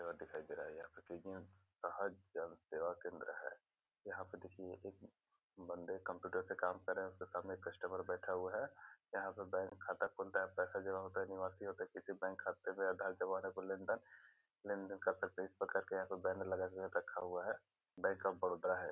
दिखाई दे रहा है यहाँ पे जन सेवा केंद्र है यहाँ पे देखिए एक बन्दे कंप्यूटर पे काम कर रहे है उसके सामने कस्टमर बैठा हुआ है यहाँ पे बैंक खाता खुलता है पैसे जमा होता है निकासी होता है किसी बैंक खाते में आधार जमा में लेन-देन लेन-देन कर सकते है इस प्रकार का बैनर लगा के रखा है बैंक ऑफ़ बड़ौदा है।